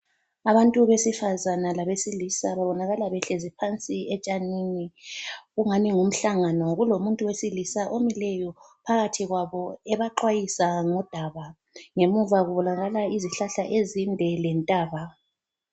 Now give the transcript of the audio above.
Abantu besifazana labesilisa babonakala behlezi phansi etshanini kungani ngumhlangano kulomuntu kulowesilisa omileyo phakathi kwabo ebaxwayisa ngodaba. Ngemuva kubonakala izihlahla ezinde lentaba.